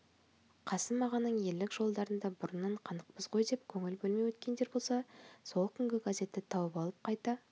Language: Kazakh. қасым ағаның ерлік жолдарына бұрыннан қанықпыз ғой деп көңіл бөлмей өткендер болса сол күнгі газетті тауып алып қайта